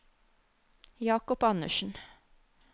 Jakob Andersen